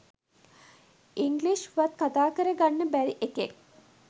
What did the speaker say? English වත් කතා කර ගන්න බැරි එකෙක්.